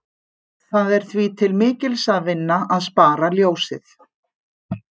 Það er því til mikils að vinna að spara ljósið.